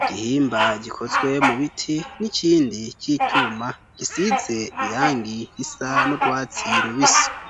igihimba gikozwe mu biti n'ikindi c'icuma gisize irangi risa n'urwatsi rubisi.